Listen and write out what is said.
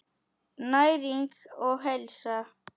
Næring og heilsa.